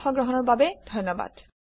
অংশগ্ৰহণৰ বাবে ধন্যবাদ